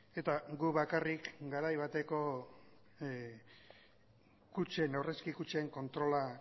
eta gu bakarrik garai bateko kutxen aurrezki kutxen kontrola